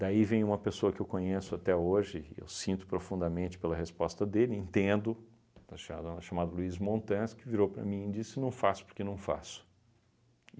Daí vem uma pessoa que eu conheço até hoje, eu sinto profundamente pela resposta dele, entendo, cha chamado Luiz Montanz, que virou para mim e disse, não faço porque não faço.